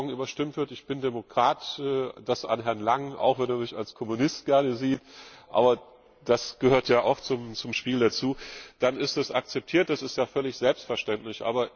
Wenn das morgen überstimmt wird ich bin Demokrat, das an Herrn Langen, auch wenn er mich gerne als Kommunist sieht, aber das gehört ja auch zum Spiel dazu dann ist es akzeptiert, das ist ja völlig selbstverständlich.